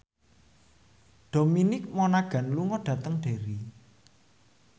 Dominic Monaghan lunga dhateng Derry